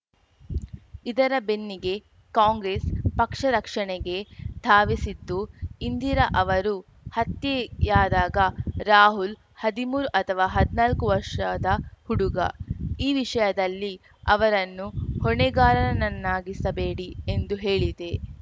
ಇದರ ಬೆನ್ನಿಗೆ ಕಾಂಗ್ರೆಸ್‌ ಪಕ್ಷ ರಕ್ಷಣೆಗೆ ಧಾವಿಸಿದ್ದು ಇಂದಿರಾ ಅವರು ಹತ್ಯೆಯಾದಾಗ ರಾಹುಲ್‌ ಹದಿಮೂರು ಅಥವಾ ಹದ್ನಾಕು ವರ್ಷದ ಹುಡುಗ ಈ ವಿಷಯದಲ್ಲಿ ಅವರನ್ನು ಹೊಣೆಗಾರರನ್ನಾಗಿಸಬೇಡಿ ಎಂದು ಹೇಳಿದೆ